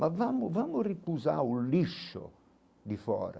Mas vamo vamo repulsar o lixo de fora.